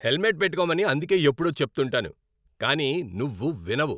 Helmet పెట్టుకోమని అందుకే ఎప్పుడూ చెప్తుంటాను కానీ నువ్వు వినవు.